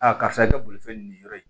karisa ye ka bolifɛn nin yɔrɔ in